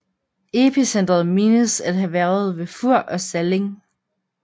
Epicentret menes at have været ved Fur og Salling